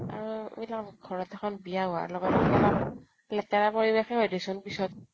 আৰু এই ধৰা ঘৰ ত এখন বিয়া হোৱাৰ লগে লগে, লেতেৰা পৰিৱেশ য়ে হয় দি চোন পিছত